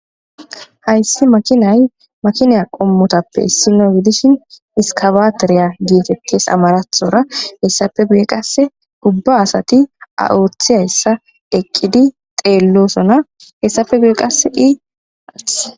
hayssi makinay makinaa qommotappe issinogidishin iskabateriya geetettis amarathora hessafe beye qase gubba asati a7oothi hayssa eqqidi xeellosona hessafe bue qase ii-athhe